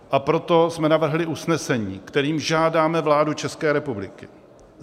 A proto jsme navrhli usnesení, kterým žádáme vládu České republiky